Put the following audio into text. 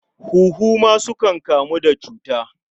Huhu ma sukan kamu da cuta.